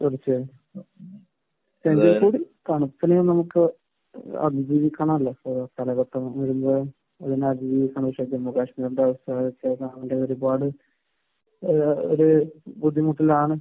തീർച്ചയായും. തണുപ്പിനെ നമുക്ക് അതിജീവിക്കാൻ അറിയാം. അതിജീവിക്കാൻ ജമ്മു കാശ്മീരിന്റെ അവസ്ഥ ഒരുപാട് ഏഹ് ഒരു ബുദ്ധിമുട്ടുകളാണ്